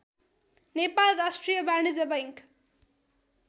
नेपाल राष्ट्रिय बाणिज्य बैङ्क